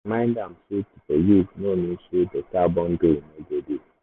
i remind am say to forgive no mean say better boundary no go dey.